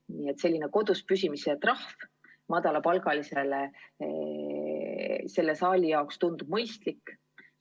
Nii et selline kodus püsimise trahv madalapalgalisele inimesele tundub sellele saalile mõistlik olevat.